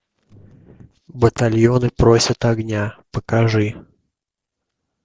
батальоны просят огня покажи